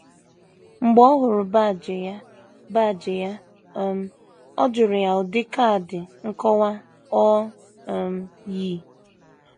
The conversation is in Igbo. Mgbe ọ hụrụ baajị ya baajị ya um, ọ jụrụ ya ụdị kaadị nkọwa o um yi.